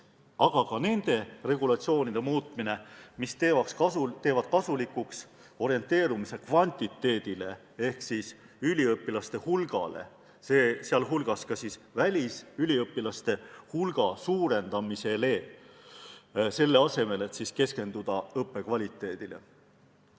Aga lahenduseks on ka selliste regulatsioonide muutmine, mis teevad kasulikuks orienteerumise kvantiteedile ehk üliõpilaste hulgale, sh välisüliõpilaste hulga suurendamisele, selle asemel et keskenduda õppekvaliteedile.